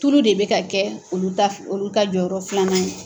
Tulu de bɛ ka kɛ olu ka jɔyɔrɔ filanan ye.